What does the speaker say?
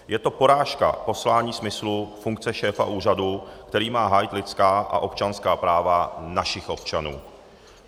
Je to porážka poslání, smyslu, funkce šéfa úřadu, který má hájit lidská a občanská práva našich občanů.